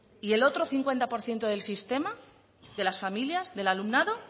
y el otro cincuenta por ciento del sistema de las familias del alumnado